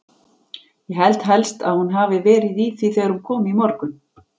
Ég held helst að hún hafi verið í því þegar hún kom í morgun.